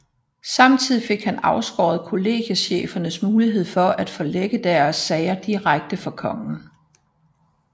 Samtidig fik han afskåret kollegiechefernes mulighed for at forelægge deres sager direkte for kongen